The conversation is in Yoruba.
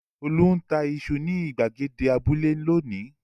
Olú ń ta iṣu ní ìgbàgede abúlé lónìí!